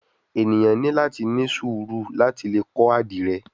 Eniyan ni lati ni suuru lati le kọ adire